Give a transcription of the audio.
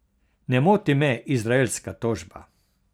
Ne moti me izraelska tožba.